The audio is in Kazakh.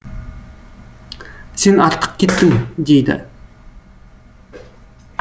сен артық кеттің дейді